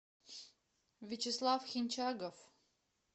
вячеслав хинчагов